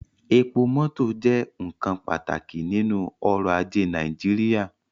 Epo mọtọ jẹ nkan pataki ninu ọrọ-aje Naijiria